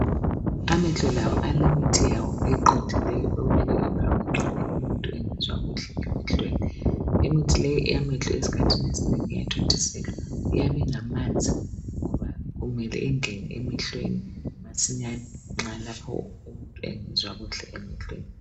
Amehlo lawo alemithi yawo eqondileyo okumele umuntu ayifake nxa engezwa kuhle emehlweni imithi le eyamehlo esikhathini esinengi iyathontiselwa iyabe ingamanzi ngoba imele ungene emehlweni masinyane Nxa lapho umuntu engezwa kuhle emehlweni